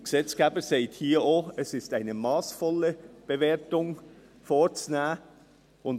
Der Gesetzgeber sagt hier auch, dass eine massvolle Bewertung vorzunehmen sei.